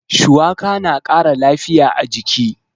Shuwaka na ƙara lafiya a jiki.